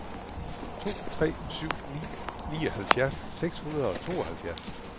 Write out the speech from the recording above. to tre syv ni nioghalvfjerds seks hundrede og tooghalvfjerds